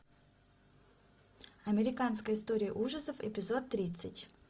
американская история ужасов эпизод тридцать